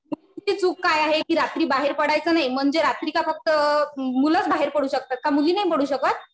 मुलींची चूक काय आहे? कि रात्री बाहेर पडायचं नाही. म्हणजे रात्री का फक्त मुलंच बाहेर पडू शकतात का मुली नाही पडू शकत?